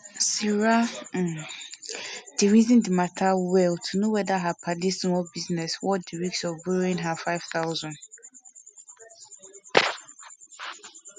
sarah um reason di matter well to know whether her padi small business worth di risk of borrowing her five thousand